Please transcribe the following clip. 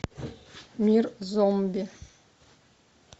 мир зомби